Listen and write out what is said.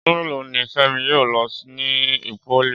Ọdún mélòó ni Fẹ́mi yóò lò ní pólì